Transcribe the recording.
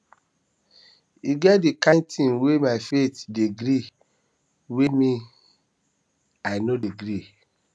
e get di kain tins wey my faith dey gree wey me wey me i no dey gree